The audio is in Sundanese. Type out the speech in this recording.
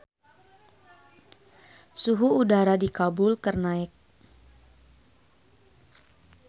Suhu udara di Kabul keur naek